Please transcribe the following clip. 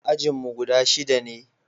ajinmu guda shida ne